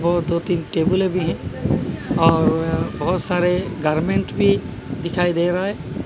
वो दो तीन टेबलें भी है और बहोत सारे गारमेंट दिखाई दे रा है।